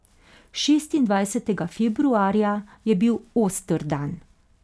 Šestindvajstega februarja je bil oster dan.